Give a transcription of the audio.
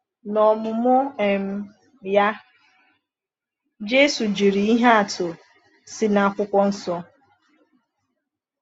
N’ọmụmụ um ya, Jésù jiri ihe atụ si n’Akwụkwọ Nsọ.